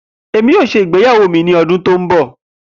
Emi yoo ṣe igbeyawo ni ọdun to nbọ